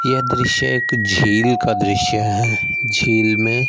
यह दृश्य एक झील का दृश्य है झील में--